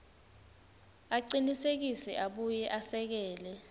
acinisekise abuye esekele